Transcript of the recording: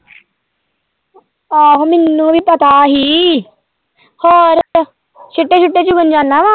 ਆਹੋ ਮੈਨੂੰ ਵੀ ਪਤਾ ਹੀ ਹੋਰ ਛਿੱਟੇ-ਛੂਟੇ ਚੁੱਕਣ ਜਾਣਾ ਵਾਂ।